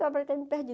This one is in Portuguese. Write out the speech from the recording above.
perdido.